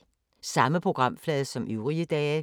Samme programflade som øvrige dage